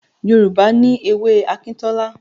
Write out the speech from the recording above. Yorùbá ní èwe Akintola